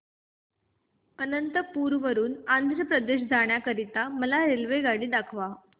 अनंतपुर वरून आंध्र प्रदेश जाण्या करीता मला रेल्वेगाडी दाखवा